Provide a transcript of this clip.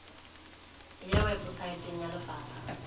e ya weposaeteng ya lefapha